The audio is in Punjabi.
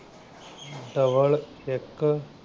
double ਇੱਕ।